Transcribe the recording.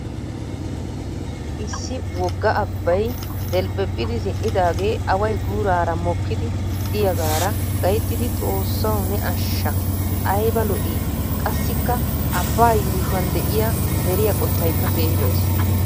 Issi wogga abbay delphphephidi zin'idaagee away guuraara mokkidi diyaagaara gayttidi xoossawu ne ashsha ayba lo'ii? Qassikka abbaa yuushshuwan de'iya deriya qottaykka keehii lo'ees.